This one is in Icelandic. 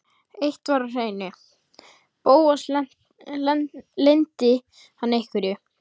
Eitt var á hreinu: Bóas leyndi hann einhverju.